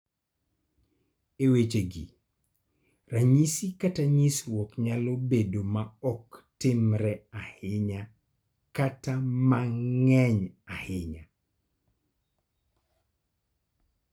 E wechegi, ranyisi kata nyisruok nyalo bedo ma ok timre ahinya kata ma ng�eny ahinya.